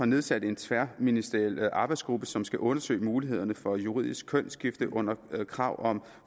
nedsat en tværministeriel arbejdsgruppe som skal undersøge mulighederne for juridisk kønsskifte under krav om